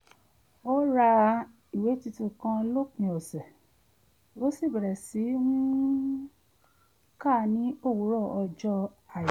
ó ra ìwé tuntun kan lópin ọ̀sẹ̀ ó sì bẹ̀rẹ̀ sí um í kà á ní òwúrọ̀ ọjọ́ àìkú